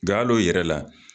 Nga hal'o yɛrɛ la